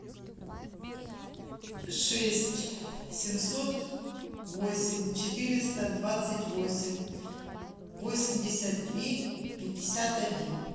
шесть семьсот восемь четыреста двадцать восемь восемьдесят три пятьдесят один